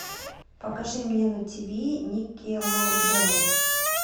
покажи мне тиви никелодеон